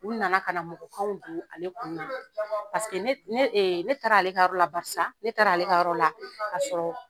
U na na ka na mɔgɔkanw don ale kun na paseke ne taara ale ka yɔrɔ la barisa ne taara ale ka yɔrɔ la ka sɔrɔ